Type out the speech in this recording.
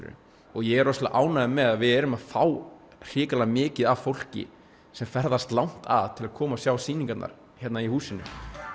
ég er rosalega ánægður með að við erum að fá hrikalega mikið af fólki sem ferðast langt að til að koma og sjá sýningarnar hérna í húsinu